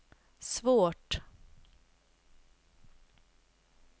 svårt